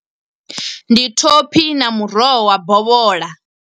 Ndi thophi na muroho wa bovhola.